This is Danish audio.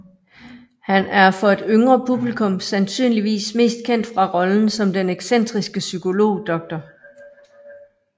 Han er for et yngre publikum sandsynligvis mest kendt fra rollen som den excentriske psykolog Dr